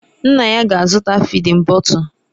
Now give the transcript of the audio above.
Nna ya ga-azụta fịdin bọtul.